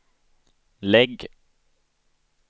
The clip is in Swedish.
lägg